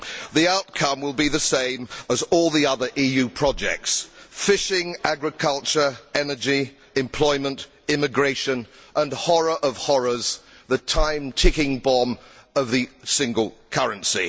The outcome will be the same as all the other EU projects fishing, agriculture, energy, employment, immigration and, horror of horrors, the ticking time bomb of the single currency.